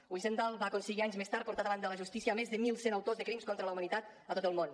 wiesenthal va aconseguir anys més tard portar davant de la justícia més de mil cent autors de crims contra la humanitat a tot el món